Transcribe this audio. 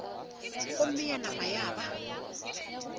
gomme ya nama ya ba